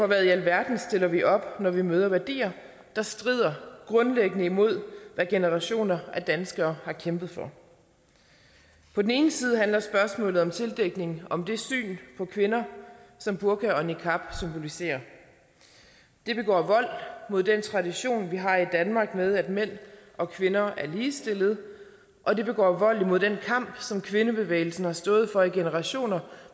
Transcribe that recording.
hvad i alverden stiller vi op når vi møder værdier der strider grundlæggende imod hvad generationer af danskere har kæmpet for på den ene side handler spørgsmålet om tildækning om det syn på kvinder som burka og niqab symboliserer det begår vold mod den tradition vi har i danmark med at mænd og kvinder er ligestillede og det begår vold imod den kamp som kvindebevægelsen har stået for i generationer